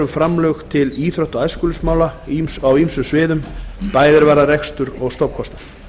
framlög til íþrótta og æskulýðsmála á ýmsum sviðum bæði er varðar rekstur og stofnkostnað